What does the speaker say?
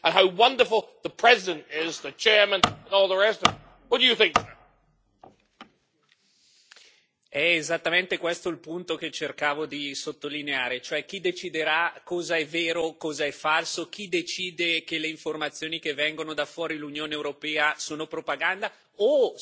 È esattamente questo il punto che cercavo di sottolineare, cioè chi deciderà cosa è vero e cosa è falso, chi decide che le informazioni che vengono da fuori l'Unione europea sono propaganda, o se ci sarà un ente che verificherà ad esempio il materiale informativo che l'Unione distribuisce nelle scuole, mostrando